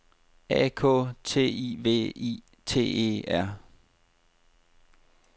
A K T I V I T E R